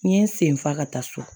N ye n sen fa ka taa so